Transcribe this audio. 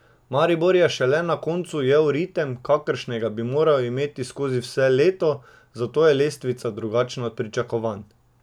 Maribor je šele na koncu ujel ritem, kakršnega bi moral imeti skozi vse leto, zato je lestvica drugačna od pričakovanj.